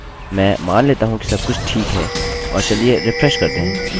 इसे वापस phpacademy में बदलिए और इसे सेव करिये